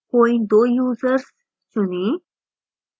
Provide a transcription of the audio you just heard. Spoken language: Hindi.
कोई 2 users चुनें